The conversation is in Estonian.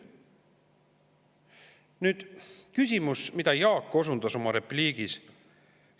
" Nüüd küsimus, millele Jaak osundas oma repliigis.